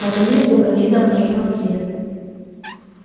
наконец добрались до моей квартиры